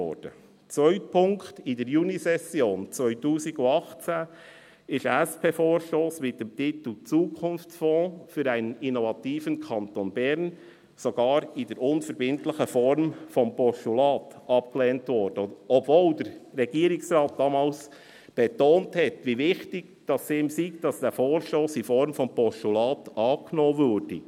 Zweiter Punkt: In der Junisession 2018 wurde ein SP-Vorstoss mit dem Titel «Zukunftsfonds – für einen innovativen Kanton Bern» sogar in der unverbindlichen Form des Postulates abgelehnt, obwohl der Regierungsrat damals betonte, wie wichtig es ihm sei, dass dieser Vorstoss in Form des Postulates angenommen werde.